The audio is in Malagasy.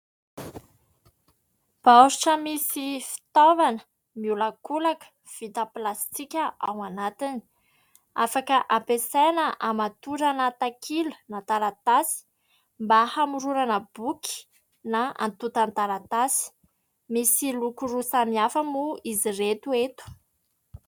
Baoritra misy fitaovana miolakolaka vita pilasitika ao anatiny, afaka ampiasaina hamatorana takila na taratasy mba hamoronona boky na antota taratasy. Misy loko roa samy hafa moa izy ireto eto.